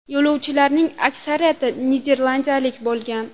Yo‘lovchilarning aksariyati niderlandiyalik bo‘lgan.